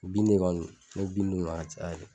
Bin de kɔni n me bin d'u ma ka caya kɛ